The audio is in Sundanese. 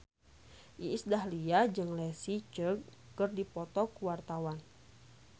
Iis Dahlia jeung Leslie Cheung keur dipoto ku wartawan